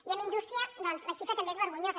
i amb indústria doncs la xifra també és vergonyosa